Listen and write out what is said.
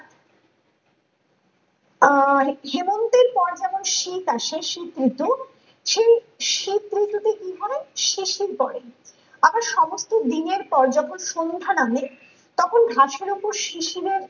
আহ হেম হেমন্তের পর যেমন শীত আসে শীত ঋতু সেই শীত ঋতু তে কি হয় শিশির পড়ে আবার সমস্ত দিনের পর্যাপ্ত সন্ধ্যা নামে তখন ঘাসের উপর শিশিরের